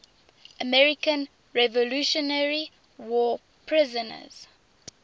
american revolutionary war prisoners